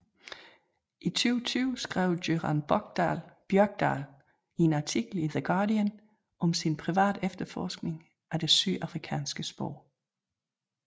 I 2020 skrev Göran Björkdahl i en artikel i The Guardian om sin private efterforskning af det sydafrikanske spor